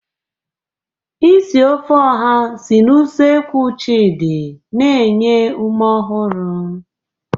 Isi ofe oha si na usekwu Chidi na-enye ume ọhụrụ.